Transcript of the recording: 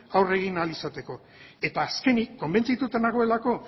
aurre egin ahal izateko eta azkenik konbentzituta nagoelako